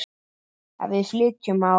Ef við flytjum á